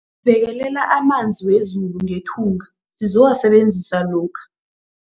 Bekelela amanzi wezulu ngethunga sizowasebenzisa lokha.